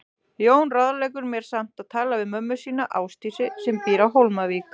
Jón ráðleggur mér samt að tala við mömmu sína, Ásdísi, sem býr á Hólmavík.